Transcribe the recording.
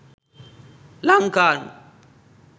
lankan